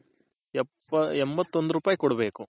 ಎಂಬತ್ತೊಂದ್ ರೂಪಾಯ್ ಕೊಡ್ಬೇಕು.